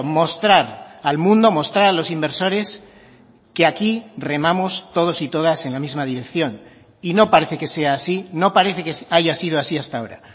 mostrar al mundo mostrar a los inversores que aquí remamos todos y todas en la misma dirección y no parece que sea así no parece que haya sido así hasta ahora